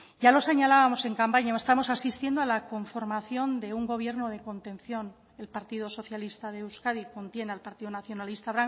ya lo señalábamos en campaña estamos asistiendo a la conformación de un gobierno de contención el partido socialista de euskadi contiene al partido nacionalista